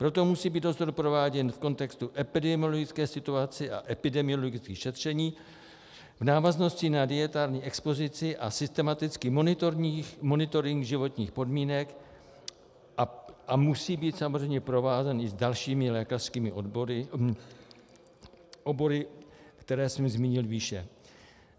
Proto musí být dozor prováděn v kontextu epidemiologické situace a epidemiologických šetření v návaznosti na dietární expozici a systematický monitoring životních podmínek a musí být samozřejmě provázán i s dalšími lékařskými obory, které jsem zmínil výše.